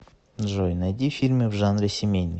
джой найди фильмы в жанре семейный